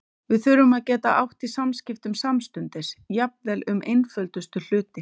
Við þurftum að geta átt í samskiptum samstundis, jafnvel um einföldustu hluti.